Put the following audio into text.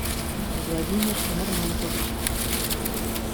владимир нормантович